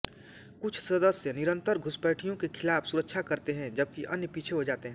कुछ सदस्य निरन्तर घुसपैठियों के खिलाफ सुरक्षा करते हैं जबकि अन्य पीछे हो जाते हैं